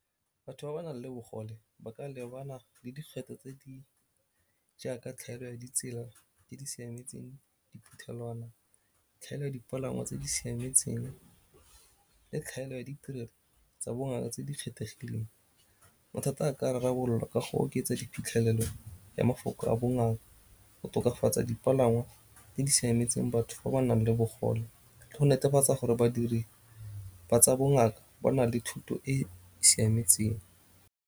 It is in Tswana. Batho ba ba nang le bogole ba ka lebana le dikgwetlho tse di jaaka tlhaelo ya ditsela tse di siametseng diphuthelwana, tlhaelo ya dipalangwa tse di siametseng le tlhaelo ya ditirelo tsa bongaka tse di kgethegileng. Mathata a ka rarabololwa ka go oketsa diphitlhelelo ya mafoko a bongaka, go tokafatsa dipalangwa tse di siametseng batho ba ba nang le bogole le go netefatsa gore badiri ba tsa bongaka ba na le thuto e siametseng.